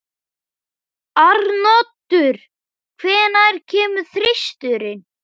Arnoddur, hvenær kemur þristurinn?